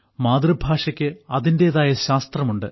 മാതൃഭാഷയ്ക്ക് അതിന്റേതായ ശാസ്ത്രമുണ്ട്